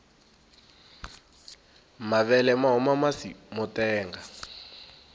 mavele mahuma masi motenga